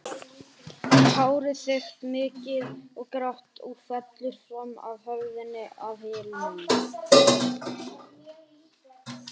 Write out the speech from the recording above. Hárið þykkt, mikið og grátt og fellur fram af höfðinu að hylnum.